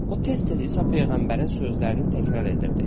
O tez-tez İsa peyğəmbərin sözlərini təkrar edirdi.